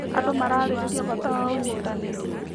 Andũ mararĩrĩria bata wa ũnyitanĩri.